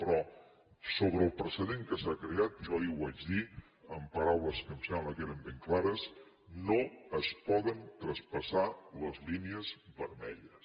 però sobre el precedent que s’ha creat jo ahir ho vaig dir amb paraules que em sembla que eren ben clares no es poden traspassar les línies vermelles